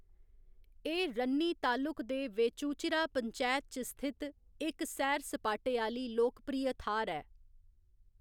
एह्‌‌ रन्नी तालुक दे वेचूचिरा पंचैत च स्थित इक सैर सपाटे आह्‌ली लोकप्रिय थाह्‌‌‌र ऐ।